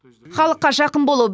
халыққа жақын болу